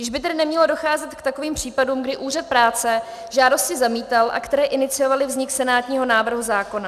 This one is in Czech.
Již by tedy nemělo docházet k takovým případům, kdy úřad práce žádosti zamítal a které iniciovaly vznik senátního návrhu zákona.